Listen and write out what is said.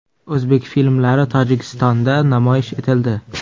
O‘zbek filmlari Tojikistonda namoyish etildi.